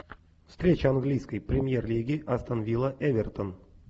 встреча английской премьер лиги астон вилла эвертон